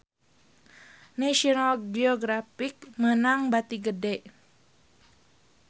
National Geographic meunang bati gede